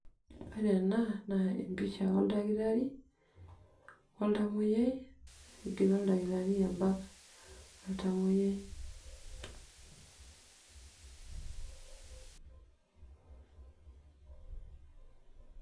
Ore ena naa empisha oldakitari, oltamoyiai, egira oldakitari abak oltamoyiai.